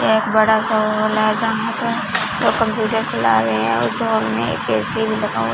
एक बड़ा सा हॉल है जहां पर दो कंप्यूटर चला रहे और उस हॉल में एक ए_सी भी लगा हुआ--